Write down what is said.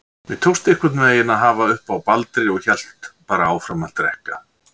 Mér tókst einhvern veginn að hafa uppi á Baldri og hélt bara áfram að drekka.